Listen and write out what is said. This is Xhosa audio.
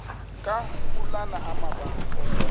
ka ulana amabandla